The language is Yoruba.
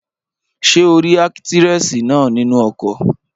Ṣé o rí ákítírẹ́sì náà nínú ọkọ̀?